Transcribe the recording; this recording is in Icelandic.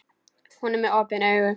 Hún er með opin augun.